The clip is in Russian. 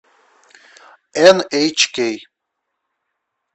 эн эйч кей